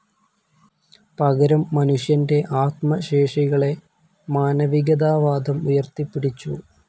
പകരം മനുഷ്യൻ്റെ ആത്മശേഷികളെ മാനവികതാവാദം ഉയർത്തിപ്പിടിച്ചു.